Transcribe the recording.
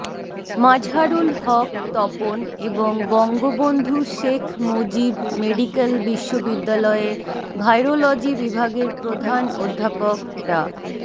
মাজহারুল হক তপন এবং বঙ্গবন্ধু শেখ মুজিব মেডিক্যাল বিশ্ববিদ্যালয়ের ভাইরোলজি বিভাগের প্রধান অধ্যাপক ডা